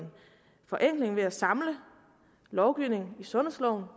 forenkling ved at man samler lovgivningen i sundhedsloven